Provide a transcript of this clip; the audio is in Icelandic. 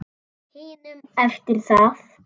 hinum eftir það.